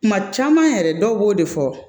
Kuma caman yɛrɛ dɔw b'o de fɔ